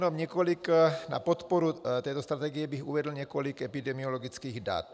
Na podporu této strategie bych uvedl několik epidemiologických dat.